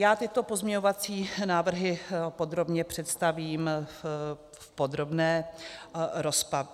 Já tyto pozměňovací návrhy podrobně představím v podrobné rozpravě.